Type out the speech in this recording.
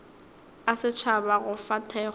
a setšhaba go fa thekgo